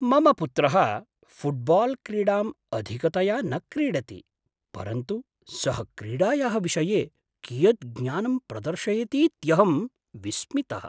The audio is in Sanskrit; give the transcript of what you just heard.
मम पुत्रः ऴुट्बाल्क्रीडाम् अधिकतया न क्रीडति, परन्तु सः क्रीडायाः विषये कियत् ज्ञानं प्रदर्शयतीत्यहं विस्मितः।